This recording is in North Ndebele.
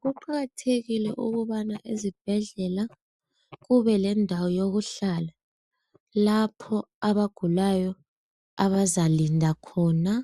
Kuqakathekile ukubana ezibhedlela kube lendawo yokuhlala lapho abagulayo abazalinda khona